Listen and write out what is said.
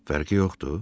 Fərqi yoxdur?